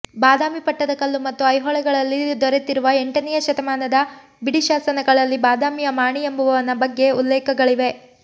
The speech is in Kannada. ಬಾದಾಮಿ ಪಟ್ಟದಕಲ್ಲು ಮತ್ತು ಐಹೊಳೆಗಳಲ್ಲಿ ದೊರೆತಿರುವ ಎಂಟನೆಯ ಶತಮಾನದ ಬಿಡಿ ಶಾಸನಗಳಲ್ಲಿ ಬಾದಾಮಿಯ ಮಾಣಿ ಎಂಬುವವನ ಬಗ್ಗೆ ಉಲ್ಲೇಖಗಳಿವೆ